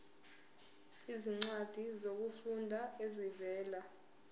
izincwadi zokufunda ezivela